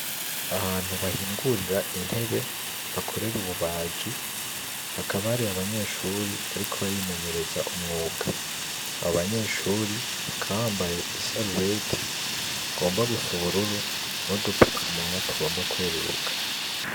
Ahantu bahingurira intebe, bakorera ububaji, hakaba hari abanyeshuri bariko barimenyereza umwuga. Abo banyeshuri bakaba bambaye isarubeti igomba gusa ubururu n'udupfukamunwa tugomba kweruka.